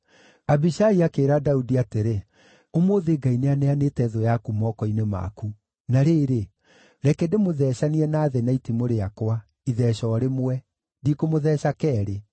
Abishai akĩĩra Daudi atĩrĩ, “Ũmũthĩ Ngai nĩaneanĩte thũ yaku moko-inĩ maku. Na rĩrĩ, reke ndĩmũthecithanie na thĩ na itimũ rĩakwa, itheeca o rĩmwe; ndikũmũtheeca keerĩ.”